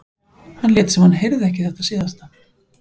Hann lét sem hann heyrði ekki þetta síðasta.